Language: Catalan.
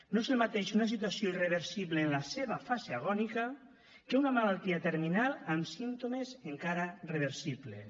no és el mateix una situació irreversible en la seva fase agònica que una malaltia terminal amb símptomes encara reversibles